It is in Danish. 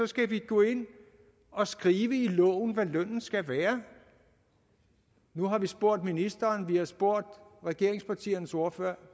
skal gå ind og skrive i loven hvad lønnen skal være nu har vi spurgt ministeren vi har spurgt regeringspartiernes ordførere